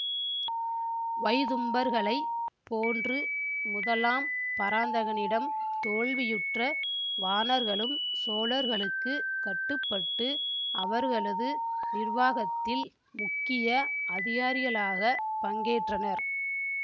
வைதும்பர்களைப் போன்று முதலாம் பராந்தகனிடம் தோல்வியுற்ற வாணர்களும் சோழர்களுக்குக் கட்டுப்பட்டு அவர்களது நிர்வாகத்தில் முக்கிய அதிகாரிகளாகப் பங்கேற்றனர்